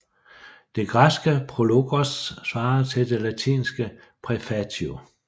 Det græske prologos svarer til det latinske praefatio